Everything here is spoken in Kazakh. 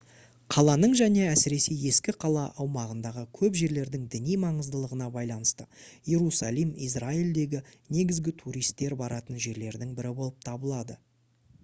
қаланың және әсіресе ескі қала аумағындағы көп жерлердің діни маңыздылығына байланысты иерусалим израильдегі негізгі туристер баратын жерлердің бірі болып табылады